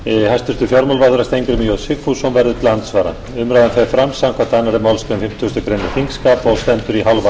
hæstvirtur fjármálaráðherra steingrímur j sigfússon verður til andsvara umræðan fer fram samkvæmt annarri málsgrein fimmtugustu grein þingskapa og stendur í hálfa klukkustund